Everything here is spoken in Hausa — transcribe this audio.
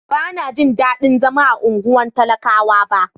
Ban na ji dadin zama a unguwan talakawa ba.